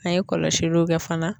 N'an ye kɔlɔsiliw kɛ fana